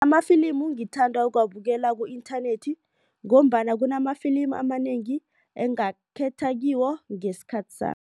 Amafilimi ngithanda ukuwabukela ku-inthanethi ngombana kunama-ifilimi amanengi engakhetha kiwo ngesikhathi sami.